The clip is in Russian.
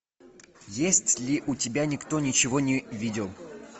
есть ли у тебя никто ничего не видел